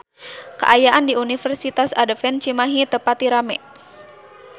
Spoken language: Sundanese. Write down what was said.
Kaayaan di Universitas Advent Cimahi teu pati rame